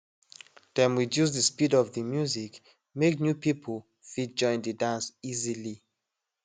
dem reduce de speed of de music make new people fit join de dance easily